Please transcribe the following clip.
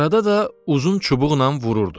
Arada da uzun çubuqnan vururdu.